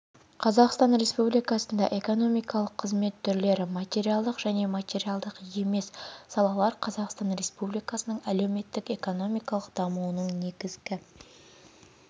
қазақстан республикасында экономикалық қызмет түрлері материалдық және материалдық емес салалар қазақстан республикасының әлеуметтік экономикалық дамуының негізгі